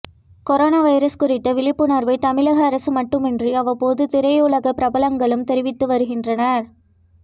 corona virus குறித்த விழிப்புணர்வை தமிழக அரசு மட்டுமின்றி அவ்வப்போது திரையுலக பிரபலங்களும் தெரிவித்து வருகின்றனர்